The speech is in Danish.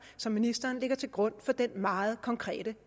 som ministeren lægger til grund for denne meget konkrete